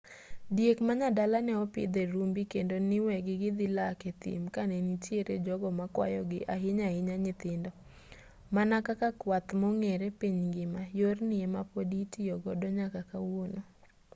diek manyadala neopidh e rumbi kendo niwegi gidhi lak a thim kanenitiere jogo makwayogi ahinya ahinya nyithindo mana kaka kwath mong'ere piny ngima yorni ema podi itiyo godo nyaka kawuono